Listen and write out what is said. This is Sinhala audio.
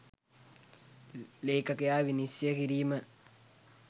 ලේඛකයා විනිශ්චය කිරීම